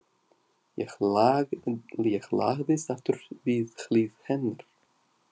Ég lagðist aftur við hlið hennar.